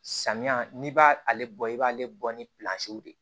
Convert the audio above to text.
Samiya n'i b'ale bɔ i b'ale bɔ ni de